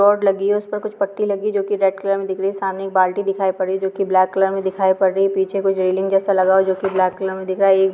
Rod लगी हैं उसपे कुछ पट्टी लगी हैं जो की रेड कलर मे दिख रही हैंसमाने एक बाल्टी दिखाई पड़ी हैंजो की ब्लैक कलर मे दिखाई पड़ रही हैं पीछे कुछ रैलिंग जैसा लगा हुआ हैं जो की ब्लैक कलर मे दिख रहा हैं।